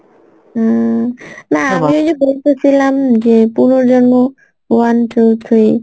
হম না আমি দেখেছিলাম যে পুনর্জন্ম one, two, three